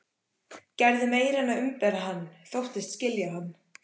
Gerði meira en að umbera hann: þóttist skilja hann.